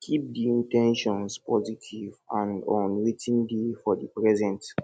keep di in ten tions positive and on wetin dey for di present